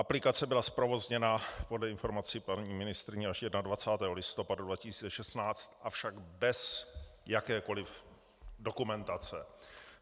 Aplikace byla zprovozněna podle informací paní ministryně až 21. listopadu 2016, avšak bez jakékoliv dokumentace.